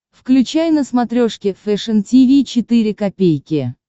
включай на смотрешке фэшн ти ви четыре ка